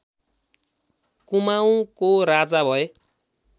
कुमाउँको राजा भए